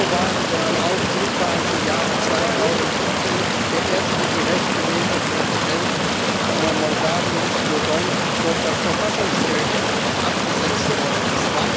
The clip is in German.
Wo waren denn die Aufrufe, als im Jahre 2017 der erste direkt gewählte Präsident Moldaus, Dodon, durch das Verfassungsgericht abgesetzt worden ist?